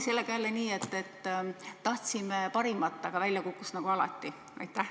Sellega on jälle nii, et tahtsime parimat, aga välja kukkus nagu alati.